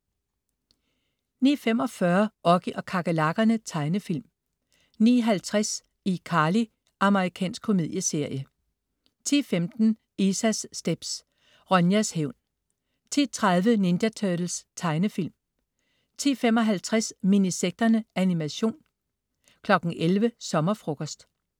09.45 Oggy og kakerlakkerne. Tegnefilm 09.50 iCarly. Amerikansk komedieserie 10.15 Isas stepz. Ronjas hævn 10.30 Ninja Turtles. Tegnefilm 10.55 Minisekterne. Animation 11.00 Sommerfrokost